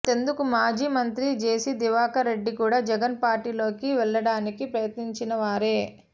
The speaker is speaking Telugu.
అంతెందుకు మాజి మంత్రి జేసీ దివాకర్ రెడ్డి కూడా జగన్ పార్టీలోకి వెల్లడానికి ప్రయత్నించిన వారే